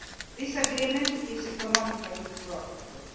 This agreement is economically profitable.